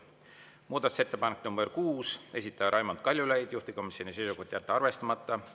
Muudatusettepanek nr 6, esitaja Raimond Kaljulaid, juhtivkomisjoni seisukoht: jätta arvestamata.